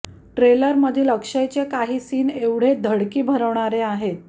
ट्रेलरमधील अक्षयचे काही सीन एवढे धडकी भरवणारे आहेत